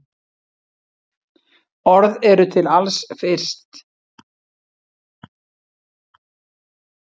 Orð eru til alls fyrst.